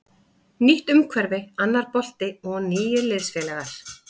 Nýtt umhverfi, annar bolti og nýir liðsfélagar.